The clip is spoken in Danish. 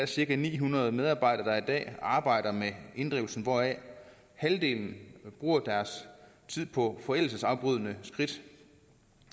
cirka ni hundrede medarbejdere der i dag arbejder med inddrivelsen hvoraf halvdelen bruger deres tid på forældelsesafbrydende skridt